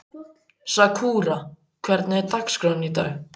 Sakura, hvernig er dagskráin í dag?